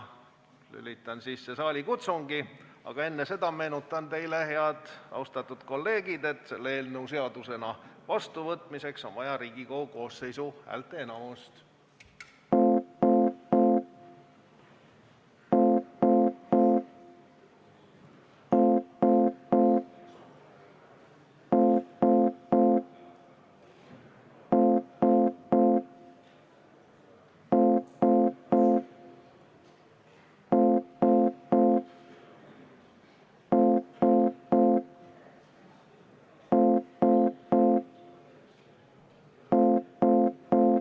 Lülitan sisse saalikutsungi, aga enne seda meenutan teile, austatud kolleegid, et selle eelnõu seadusena vastuvõtmiseks on vaja Riigikogu koosseisu häälteenamust.